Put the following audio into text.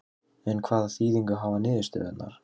En hvaða þýðingu hafa niðurstöðurnar?